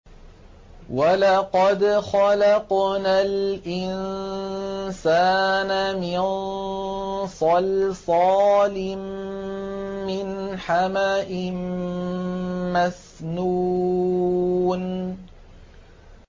وَلَقَدْ خَلَقْنَا الْإِنسَانَ مِن صَلْصَالٍ مِّنْ حَمَإٍ مَّسْنُونٍ